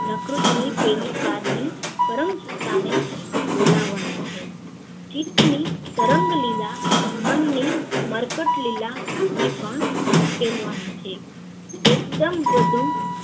પ્રકૃતિ ની પેલી પાર ની પરમ સતા ને બોલાવાની છે ચિત્ત તરંગલીલા મન ની મરકટ લીલા ને પણ સંકેલવાની છે એકદમ બધું